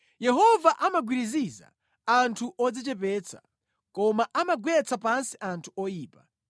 Yehova amagwiriziza anthu odzichepetsa, koma amagwetsa pansi anthu oyipa.